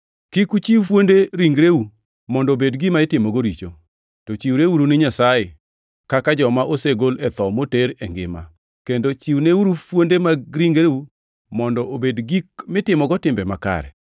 Kik uchiw fuonde ringreu mondo obed gima itimogo richo, to chiwreuru ni Nyasaye kaka joma osegol e tho moter e ngima; kendo chiwneuru fuonde mag ringreu mondo obed gik mitimogo timbe makare.